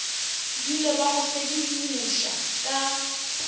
dule ba go sedimoša ka